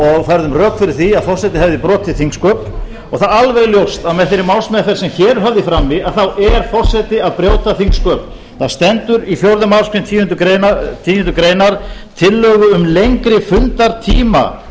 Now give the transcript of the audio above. og færðum rök fyrir því að forseti hefði brotið þingsköp og það er alveg ljóst að með þeirri málsmeðferð sem hér er höfð í frammi er forseti að brjóta þingsköp það stendur í fjórðu málsgreinar tíundu grein tillögu um lengri fundartíma